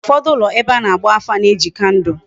Ufodu ulo ebe ana agba afa na eji kandul